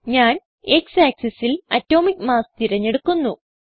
X ഞാൻ X axisൽ atomic mass തിരഞ്ഞെടുക്കുന്നു